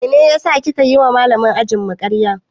Mene ya saka kika yiwa Malamin ajinmu karya?